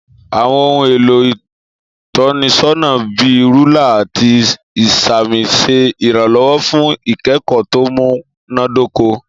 Àwon ohun èlò ìtọ́nisọ́nà bi rúlà àti ìsàmì ṣe iranlọwọ fún ikẹkọ tó múná dóko